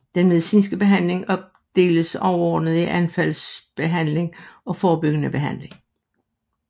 Den medicinske behandling opdeles overordnet i anfaldsbehandling og forebyggende behandling